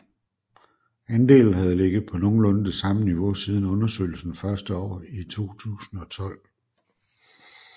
Andelen havde ligget på nogenlunde det samme niveau siden undersøgelsens første år i 2012